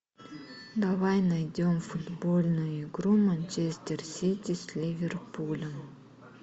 давай найдем футбольную игру манчестер сити с ливерпулем